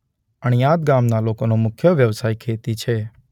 અણીયાદ ગામના લોકોનો મુખ્ય વ્યવસાય ખેતી છે.